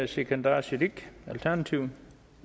sikandar siddique alternativet